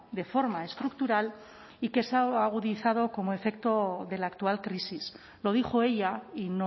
de forma estructural y que se ha agudizado como efecto de la actual crisis lo dijo ella y